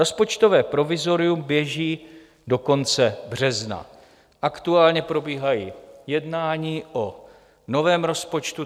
Rozpočtové provizorium běží do konce března, aktuálně probíhají jednání o novém rozpočtu.